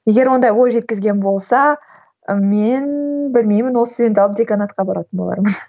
егер ондай ой жеткізген болса і мен білмеймін ол студентті алып деканатқа баратын болармын